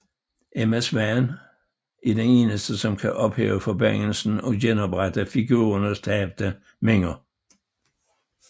Emma Swan er den eneste som kan ophæve forbandelsen og genoprette figurernes tabte minder